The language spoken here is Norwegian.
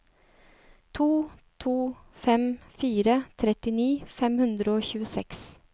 to to fem fire trettini fem hundre og tjueseks